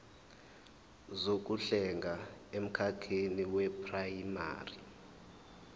zokuhlenga emkhakheni weprayimari